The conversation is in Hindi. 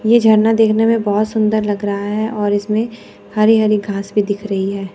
ये झरना देखने में बहोत सुंदर लग रहा है और इसमें हरी हरी घास भी दिख रही है।